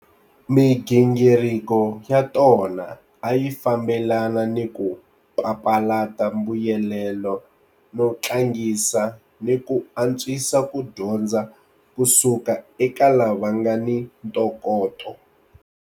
Migingiriko ya tona a yi fambelana ni ku papalata mbuyelelo no tlangisa ni ku antswisa ku dyondza ku suka eka lava nga ni ntokoto.